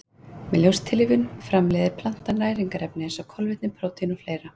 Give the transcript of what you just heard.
Með ljóstillífun framleiðir plantan næringarefni eins og kolvetni, prótín og fleira.